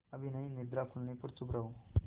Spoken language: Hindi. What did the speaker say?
अभी नहीं निद्रा खुलने पर चुप रहो